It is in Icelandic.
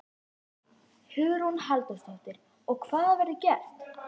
Hugrún Halldórsdóttir: Og hvað verður gert?